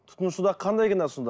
тұтынушыда қандай кінә сонда